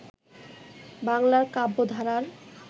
বাংলার কাব্যধারার